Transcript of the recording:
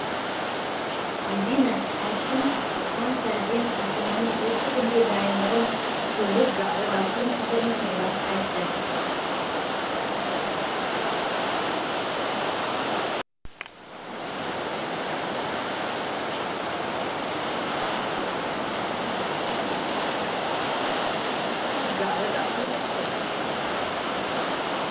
альбина әшім таң сәріден астананың осы күнге дайындығын көріп халықтың пікірін тыңдап қайтты